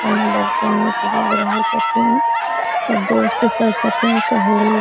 बहुते नीक लऐग रहल छथिन सब दोस्त सब छथिन सहेली --